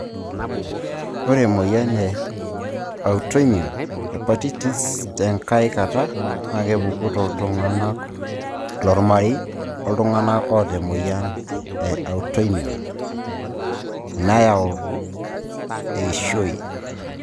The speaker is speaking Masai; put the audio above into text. Ore emoyian e Autoimmune hepatitis tenkae kata na kepuku toltungana lomarei oltungana oata emoyian e autoimmune ,nayau eishoi.